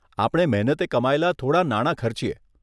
આપણે મહેનતે કમાયેલા થોડાં નાણા ખર્ચીએ.